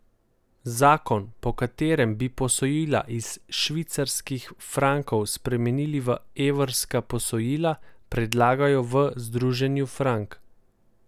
Zakon, po katerem bi posojila iz švicarskih frankov spremenili v evrska posojila, predlagajo v Združenju Frank.